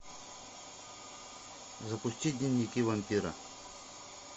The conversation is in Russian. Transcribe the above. запусти дневники вампира